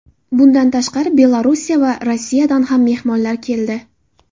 Bundan tashqari, Belorussiya va Rossiyadan ham mehmonlar keldi.